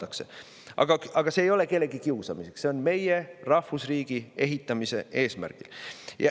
Aga see ei ole kellegi kiusamiseks, seda meie rahvusriigi ehitamise eesmärgil.